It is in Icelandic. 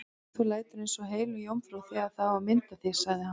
Þú lætur eins og heilög jómfrú þegar á að mynda þig, sagði hann.